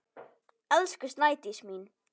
Elsku Snædís mín.